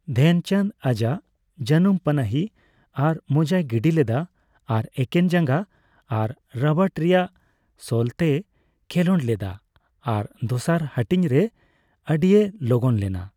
ᱫᱷᱮᱱᱪᱟᱸᱫ ᱟᱡᱟᱜ ᱡᱟᱹᱱᱩᱢ ᱯᱟᱱᱟᱦᱤ ᱟᱨ ᱢᱚᱡᱟᱭ ᱜᱤᱰᱤ ᱞᱮᱫᱟ ᱟᱨ ᱮᱠᱮᱱ ᱡᱟᱸᱜᱟ ᱟᱨ ᱨᱟᱵᱟᱴ ᱨᱮᱭᱟᱜ ᱥᱳᱞᱛᱮᱭ ᱠᱷᱮᱞᱚᱸᱰ ᱞᱮᱫᱟ ᱟᱨ ᱫᱚᱥᱟᱨ ᱦᱟᱹᱴᱤᱧᱨᱮ ᱟᱹᱰᱤᱭ ᱞᱚᱜᱚᱱ ᱞᱮᱱᱟ ᱾